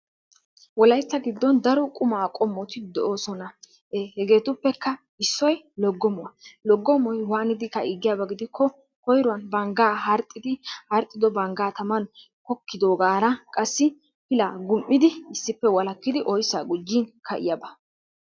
Wolaytta giddon daro qumaa qomotti de'ossona hegettuppekka issoy logommuwaa, logommoy waanidi ka'ii giyaaba gidikko koyruwaan bangga harxiddi harxiddo bangga tamaan kokidogaara qassi pillaa gum'id issippe walakiddi oyssa gujin ka'iyaaba.